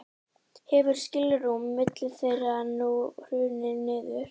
hefur skilrúm milli þeirra nú hrunið niður